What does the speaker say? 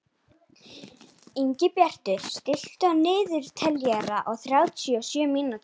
Ingibjartur, stilltu niðurteljara á þrjátíu og sjö mínútur.